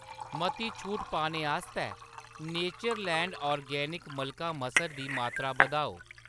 मती छूट पाने आस्तै नेचरलैंड ऑर्गेनिक्स मलका मसर दी मात्तरा बधाओ।